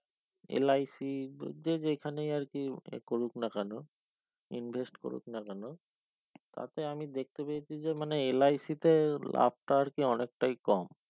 LIC যে এখানে আরকি এ করুক না কেন invest করুক না কেন তাতে আমি দেখতে পেয়েছি যে মানে LIC তে আপনার কে অনেকটায় কম